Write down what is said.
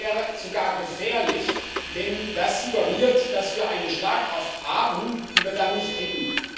Das wäre sogar gefährlich, denn es suggeriert, dass wir eine Schlagkraft haben, die wir dann nicht hätten.